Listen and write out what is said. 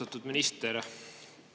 Austatud minister!